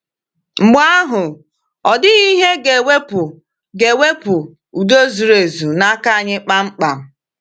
Mgbe ahụ, ọ dịghị ihe ga-ewepụ ga-ewepụ “udo zuru ezu” n’aka anyị kpamkpam.